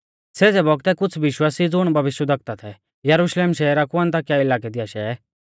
सेज़ै बौगतै कुछ़ विश्वासी ज़ुण भविष्यवक्ता थै यरुशलेम शहरा कु अन्ताकिया इलाकै दी आशै